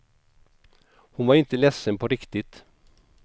Hon var inte ledsen på riktigt.